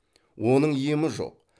оның емі жоқ